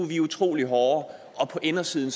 vi er utrolig hårde og på indersiden